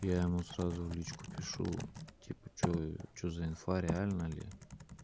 я ему сразу в личку пишу типа что за что за инфа реально ли